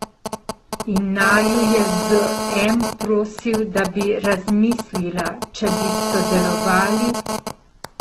In naju je z M prosil, da bi razmislila, če bi sodelovali.